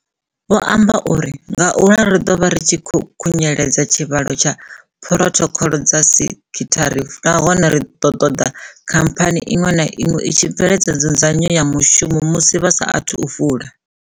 Vho amba uri, Ngauralo ri ḓo vha ri tshi khou khunyeledza tshivhalo tsha phurothokhoḽo dza sekhithara nahone ri ḓo ṱoḓa khamphani iṅwe na iṅwe i tshi bveledza nzudzanyo ya mushumoni musi vha sa athu vula.